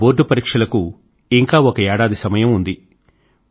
నా బోర్డ్ పరీక్షలకు ఇంకా ఒక ఏడాది సమయం ఉంది